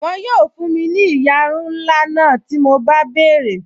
Wọn yóò fún mi ní ìyarun ńlá náà tí mo bá béèrè